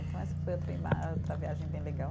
Então essa foi outra outra viagem bem legal.